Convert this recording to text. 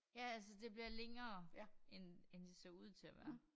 Ja altså det bliver længere end end det så ud til at være